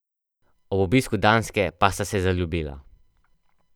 Ob obisku Danske pa sta se zaljubila.